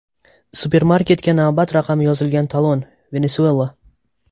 Supermarketga navbat raqami yozilgan talon, Venesuela.